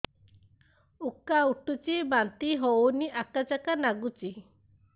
ଉକା ଉଠୁଚି ବାନ୍ତି ହଉନି ଆକାଚାକା ନାଗୁଚି